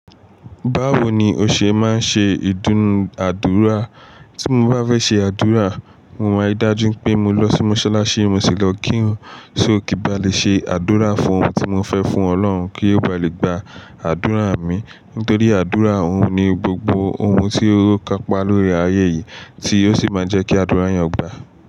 Báwo ni o ṣe máa ń ṣe ìdúnàádúrà? Tí mo bá fẹ́ ṣe àdúrà, mo máa yí dájú pé mo lọ sí Mọ́ṣáláṣí Mosi lo ki iruní só kí n ba lè ṣe àdúrà fún ohun tí mo fẹ́ fún Ọlọ́run kí ó ba lè gba àdúrà mi. Nítorí àdúrà òun ni gbogbo ohun tí ó kapa lórí ayé yìí tí ó sì máa jẹ́ kí àdúrà eeyan gba.